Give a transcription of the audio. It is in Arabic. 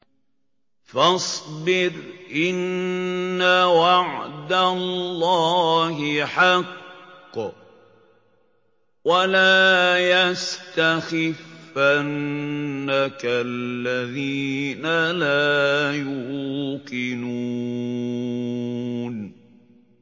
فَاصْبِرْ إِنَّ وَعْدَ اللَّهِ حَقٌّ ۖ وَلَا يَسْتَخِفَّنَّكَ الَّذِينَ لَا يُوقِنُونَ